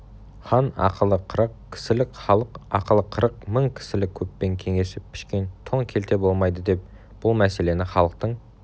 хан ақылы қырық кісілік халық ақылы қырық мың кісілік көппен кеңесіп пішкен тон келте болмайдыдеп бұл мәселені халықтың